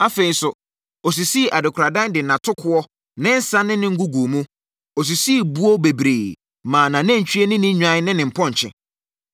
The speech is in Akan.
Afei nso, ɔsisii adekoradan de nʼatokoɔ, ne nsã ne ne ngo guu mu; ɔsisii buo bebree maa nʼanantwie ne ne nnwan ne ne mpɔnkye.